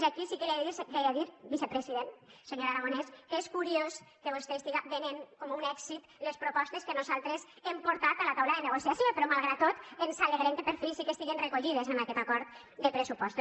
i aquí sí que li he de dir vicepresident senyor aragonès que és curiós que vostè estigui venent com un èxit les propostes que nosaltres hem portat a la taula de negociació però malgrat tot ens alegrem que per fi sí que estiguin recollides en aquest acord de pressupostos